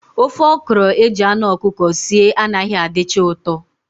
Ofe okro eji anụ ọkụkọ sie anaghị adịcha ụtọ